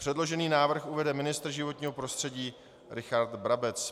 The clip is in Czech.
Předložený návrh uvede ministr životního prostředí Richard Brabec.